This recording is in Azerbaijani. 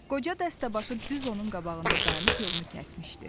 Qoca dəstəbaşı düz onun qabağında dayanıb yolunu kəsmişdi.